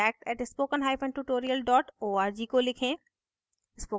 contact @spokentutorial org को लिखें